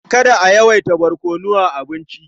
Kada a yawaita barkono a abincin.